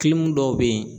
dɔw bɛ yen